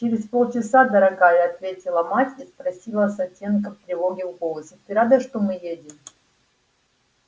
через полчаса дорогая ответила мать и спросила с оттенком тревоги в голосе ты рада что мы едем